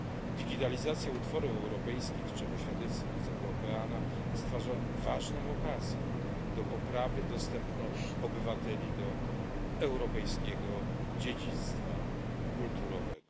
Digitalizacja utworów europejskich, czego świadectwem jest Europeana, stwarza ważną okazję do poprawy dostępu obywateli do europejskiego dziedzictwa kulturowego.